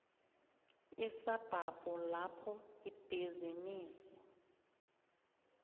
isabhabhu lapho ibhizinisi